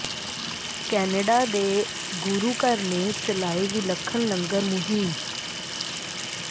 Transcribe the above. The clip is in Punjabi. ਕੈਨੇਡਾ ਦੇ ਗੁਰੂ ਘਰ ਨੇ ਚਲਾਈ ਵਿਲੱਖਣ ਲੰਗਰ ਮੁਹਿੰਮ